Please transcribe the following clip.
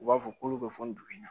U b'a fɔ k'olu bɛ fɔ nin dugu in na